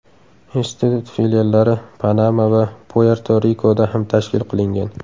Institut filiallari Panama va Puerto-Rikoda ham tashkil qilingan.